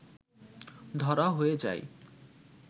ধরা হয়ে যায়